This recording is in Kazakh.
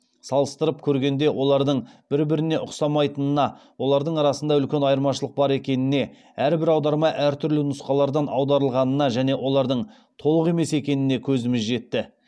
салыстырып көргенде олардың бір біріне ұқсамайтынына олардың арасында үлкен айырмашылық бар екеніне әрбір аударма әртүрлі нұсқалардан аударылғанына және олардың толық емес екеніне көзіміз жетті